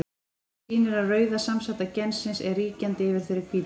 Það sýnir að rauða samsæta gensins er ríkjandi yfir þeirri hvítu.